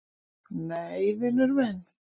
"""Nei, vinur minn!"""